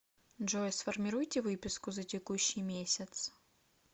джой сформируйте выписку за текущий месяц